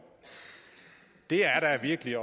det er da virkelig at